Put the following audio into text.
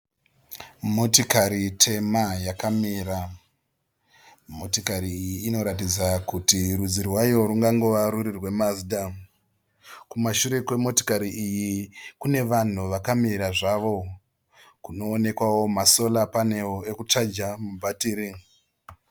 Motikari tema yakamira. Motikari iyi inoratidza kuti rudzi rwayo rungangova ruri rweMazda. Kumashure kwemotokari kune vanhu vakamira zvavo. Kunoonekwao ma sora panero ekuchaja mabhatiri.